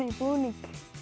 búning